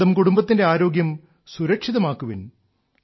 സ്വന്തം കുടുംബത്തിന്റെ ആരോഗ്യം സുരക്ഷിതമാക്കുവിൻ